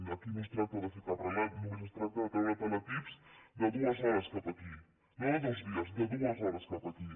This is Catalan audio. aquí no es tracta de fer cap relat només es tracta de treure teletips de dues hores cap a aquí no de dos dies de dues hores cap a aquí